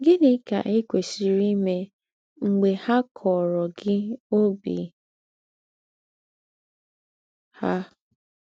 Gị̀nị́ kà i kwèsìrì íme m̀gbè ha kọ̀ọ̀rọ̀ gị ọ́bì ha?